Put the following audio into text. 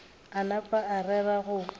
a napa a rera go